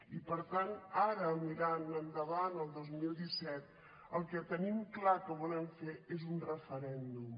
i per tant ara mirant endavant el dos mil disset el que tenim clar que volem fer és un referèndum